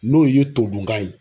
N'o ye todunkan ye.